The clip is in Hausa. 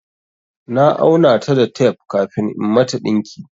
Na auna ta da tape kafin in mata ɗinki.